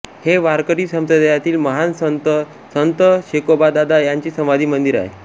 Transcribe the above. हे वारकरी संप्रदायातील महान संत संत शेकोबादादा यांचे समाधी मंदिर आहे